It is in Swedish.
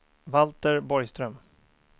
Valter Borgström